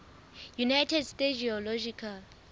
united states geological